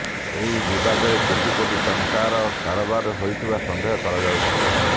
ଏହି ବାବଦରେ କୋଟି କୋଟି ଟଙ୍କାର କାରବାର ହୋଇଥିବା ସନ୍ଦେହ କରାଯାଉଛି